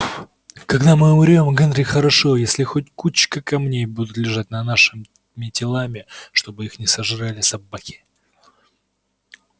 когда мы умрём генри хорошо если хоть кучка камней будет лежать над нашими телами чтобы их не сожрали собаки